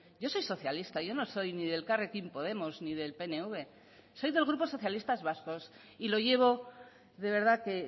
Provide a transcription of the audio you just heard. yo soy socialista yo no soy ni de elkarrekin podemos ni del pnv soy del grupo socialistas vascos y lo llevo de verdad que